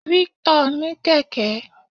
Victor ní kẹ̀kẹ́.